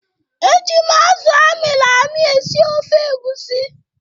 Eji m azụ a mịrị amị esi ofe egusi.